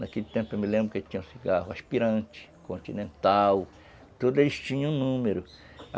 Naquele tempo eu me lembro que tinham cigarro aspirante, continental, tudo eles tinham número.